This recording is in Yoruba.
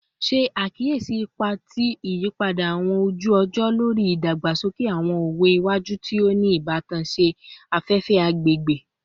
Ṣe akiyesi ipa ti iyipada awọn oju-ọjọ lori idagbasoke awọn owe iwaju ti o ni ibatan si afefe / agbegbe